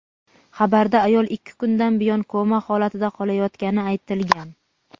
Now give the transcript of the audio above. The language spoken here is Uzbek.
Xabarda ayol ikki kundan buyon koma holatida qolayotgani aytilgan.